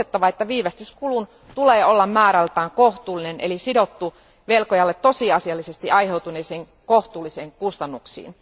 On muistettava, että viivästyskulun tulee olla määrältään kohtuullinen eli sidottu velkojalle tosiasiallisesti aiheutuneisiin kohtuullisiin kustannuksiin.